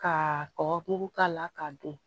Ka kɔkɔ mugu k'a la k'a dun